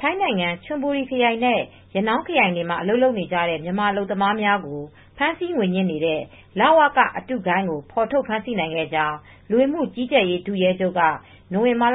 ထိုင်းနိုင်ငံ ချွန်ဘူရီခရိုင်နဲ့ ရနောင်းခရိုင်တွေမှာအလုပ်လုပ်နေကြတဲ့ မြန်မာအလုပ်သမားတွေကို ဖမ်းဆီးငွေညှစ်နေတဲ့ လဝက အတုဂိုဏ်းကို ဖေါ်ထုတ် ဖမ်းဆီးနိုင်ခဲ့ကြောင်း ထိုင်း လူဝင်မူကြီးကြပ်ရေးတာဝန်ရှိသူတွေက ကြေညာ